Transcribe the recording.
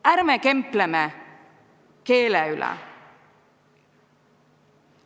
Ärme kempleme keele üle.